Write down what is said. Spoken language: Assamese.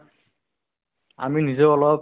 আমি নিজেও অলপ